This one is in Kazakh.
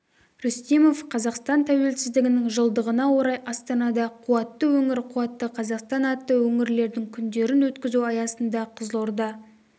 рүстемов қазақстан тәуелсіздігінің жылдығына орай астанада қуатты өңір-қуатты қазақстан атты өңірлердің күндерін өткізу аясында қызылорда